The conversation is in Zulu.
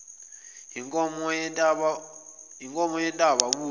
yinkomo yentaba buya